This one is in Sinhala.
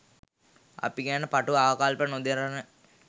අපි ගැන පටු අකල්ප නොදරන